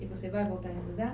E você vai voltar a estudar?